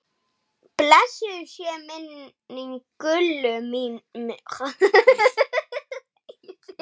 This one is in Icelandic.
Blessuð sé minning Gullu minnar.